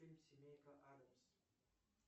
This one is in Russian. фильм семейка аддамс